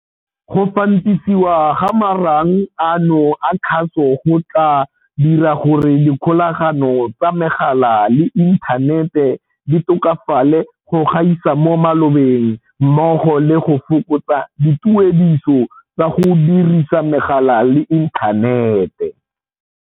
Go fantisiwa ga marang ano a kgaso go tla dira gore dikgolagano tsa megala le inthanete di tokafale go gaisa mo malobeng mmogo le go fokotsa dituediso tsa go dirisa megala le inthanete.